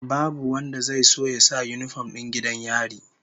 Babu wanda zai so ya sa yinifom din 'yan gidan yari